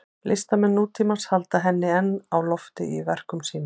Listamenn nútímans halda henni enn á lofti í verkum sínum.